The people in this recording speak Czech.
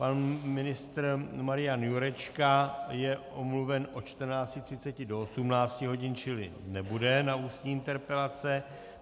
Pan ministr Marian Jurečka je omluven od 14.30 do 18 hodin, čili nebude na ústní interpelace.